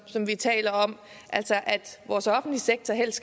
som vi taler om altså at vores offentlige sektor helst